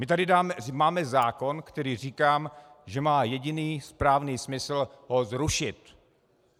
My tady máme zákon, který - říkám, že má jediný správný smysl ho zrušit.